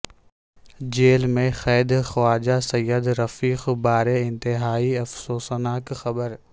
jail میں قید خواجہ سعد رفیق بارے انتہائی افسوسناک خبر